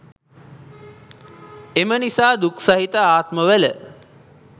එම නිසා දුක් සහිත ආත්මවල